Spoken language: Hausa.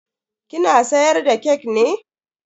Kina siyar da kek ne?